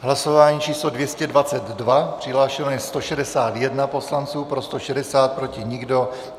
Hlasování číslo 222, přihlášeno je 161 poslanců, pro 160, proti nikdo.